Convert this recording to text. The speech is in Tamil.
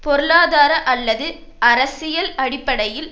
பொருளாதார அல்லது அரசியல் அடிப்படையில்